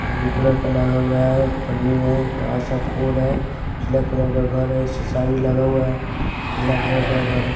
Blue colour का लगा हुआ है पन्नी है बड़ा सा फोड़ है नीला कलर का घर है शीशा भी लगा हुआ है पीला कलर का घर है।